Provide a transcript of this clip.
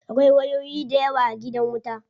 Akwai wayoyi dayawa a gidan wuta.